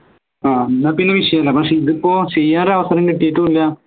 ആഹ് എന്നാ പിന്നെ വിഷയല്ല പക്ഷേ ഇതിപ്പോ ചെയ്യാൻ ഒരു അവസരം കിട്ടിട്ടുല്ല